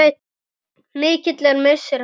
Mikill er missir hans.